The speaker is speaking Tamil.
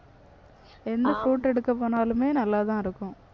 எந்த fruit எடுக்க போனாலுமே நல்லாதான் இருக்கும்.